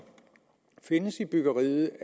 findes i byggeriet